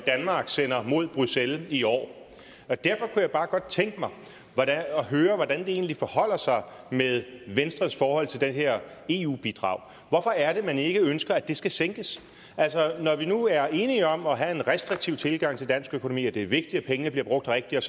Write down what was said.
danmark sender mod bruxelles i år derfor jeg bare godt tænke mig at høre hvordan det egentlig forholder sig med venstres forhold til det her eu bidrag hvorfor er det man ikke ønsker at det skal sænkes altså når vi nu er enige om at have en restriktiv tilgang til dansk økonomi og at det er vigtigt at pengene bliver brugt rigtigt